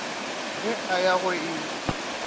ge a ya go e